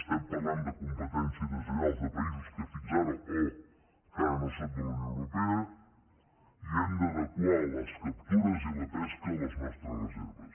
estem parlant de competència deslleial de països que fins ara o que encara no són de la unió europea i hem d’adequar les captures i la pesca a les nostres reserves